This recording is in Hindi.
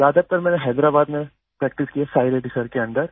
ज्यादातर मैंने हैदराबाद में प्रैक्टिस की है साई रेड्डी सर के अंडर